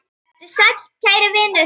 Vertu sæll, kæri vinur.